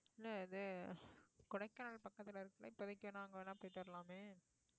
இல்ல அது கொடைக்கானல் பக்கத்துல இருக்குமே போயிட்டு வரலாமே